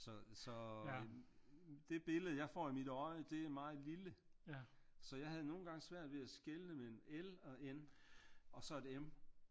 Så så det billede jeg får i mit øje det er meget lille så jeg havde nogle gange svært ved at skelne mellem L og N og så et M